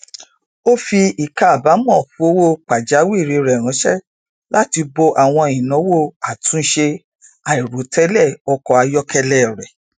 ó fi ìkábàámọ fowó pàjáwìrì rẹ ránṣẹ láti bo àwọn ináwó àtúnṣe àìròtẹlẹ ọkọ ayọkẹlẹ rẹ